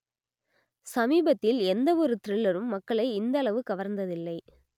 சமீபத்தில் எந்த ஒரு த்‌ரில்லரும் மக்களை இந்தளவு கவர்ந்ததில்லை